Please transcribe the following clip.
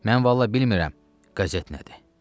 Mən vallah bilmirəm, qəzet nədir?